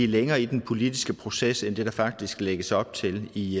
længere i den politiske proces end det der faktisk lægges op til i